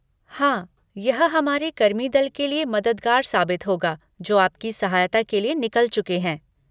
हाँ, यह हमारे कर्मीदल के लिए मददगार साबित होगा जो आपकी सहायता के लिए निकल चुके हैं।